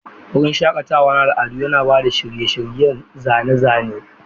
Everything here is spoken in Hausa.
Wurin shakatawa na al'adu yana ba da shirye-shiryen zane-zane.